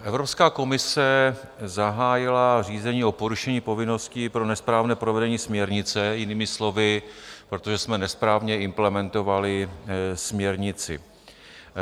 Evropská komise zahájila řízení o porušení povinnosti pro nesprávné provedení směrnice, jinými slovy, protože jsme nesprávně implementovali směrnici.